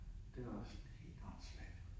Det var også sådan helt åndssvagt